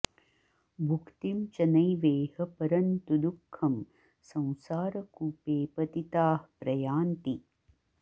भुक्तिं च नैवेह परन्तु दुःखं संसारकूपे पतिताः प्रयान्ति